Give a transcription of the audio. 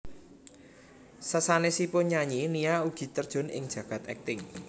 Sasanesipun nyanyi Nia ugi terjun ing jagad akting